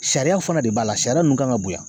Sariyaw fɛnɛ de b'a la a sariya nunnu kan ka bonya